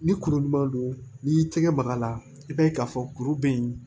Ni kuru ɲuman don n'i y'i tɛgɛ maga a la i b'a ye k'a fɔ kuru bɛ yen